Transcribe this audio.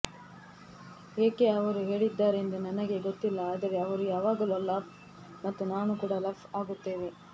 ಏಕೆ ಅವರು ಹೇಳಿದ್ದಾರೆಂದು ನನಗೆ ಗೊತ್ತಿಲ್ಲ ಆದರೆ ಅವರು ಯಾವಾಗಲೂ ಲಫ್ ಮತ್ತು ನಾನು ಕೂಡ ಲಫ್ ಆಗುತ್ತೇವೆ